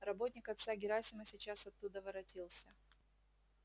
работник отца герасима сейчас оттуда воротился